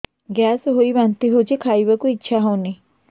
gas ହୋଇ ବାନ୍ତି ହଉଛି ଖାଇବାକୁ ଇଚ୍ଛା ହଉନି